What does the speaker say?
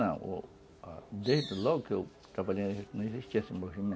Não, desde logo que eu trabalhei não existia esse movimento.